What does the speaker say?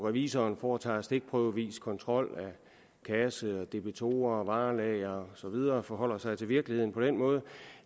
revisoren foretager stikprøvekontrol af kasse debitorer varelager og så videre og forholder sig til virkeligheden på den måde